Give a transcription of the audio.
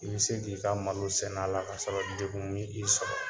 I bɛ se k'i ka malo sɛnɛ a la kasɔrɔ degun m'i sɔrɔ